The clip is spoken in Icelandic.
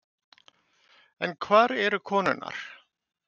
En hvar eru konurnar?